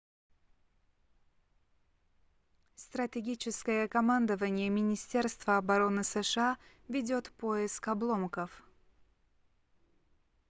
стратегическое командование министерства обороны сша ведёт поиск обломков